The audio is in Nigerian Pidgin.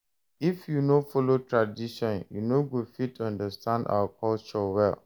If you no follow tradition, you no go fit understand our culture well.